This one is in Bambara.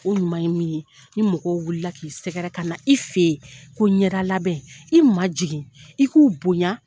O ɲuman ye min, ni mɔgɔw wulila k'i sɛgɛrɛ, ka na i fɛ yen ko ɲɛda labɛn. I ma jigin. I k'u bonya.